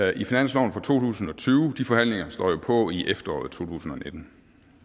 i finansloven for to tusind og tyve de forhandlinger står jo på i efteråret totusinde